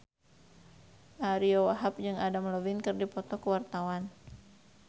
Ariyo Wahab jeung Adam Levine keur dipoto ku wartawan